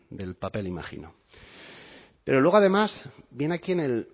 del papel imagino pero luego además viene aquí en el